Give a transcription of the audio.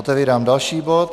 Otevírám další bod.